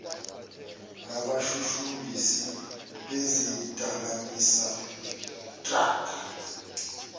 nabashushumbisi bezidakamizwa drug